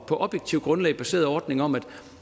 på objektivt grundlag baseret ordning om at